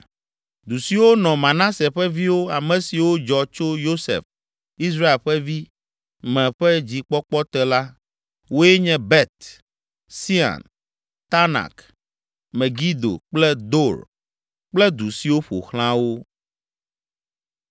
Du siwo nɔ Manase ƒe viwo, ame siwo dzɔ tso Yosef, Israel ƒe vi, me ƒe dzikpɔkpɔ te la, woe nye Bet Sean, Taanak, Megido kple Dor kple du siwo ƒo xlã wo.